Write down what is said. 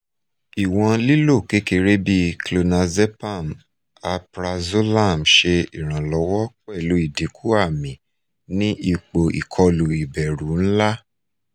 iwon lilo kekere bi clonazepam alprazolam se iranlowo pelu idinku ami ni ipo ikolu iberu nla